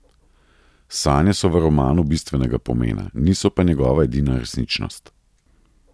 Sanje so v romanu bistvenega pomena, niso pa njegova edina resničnost.